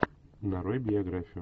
нарой биографию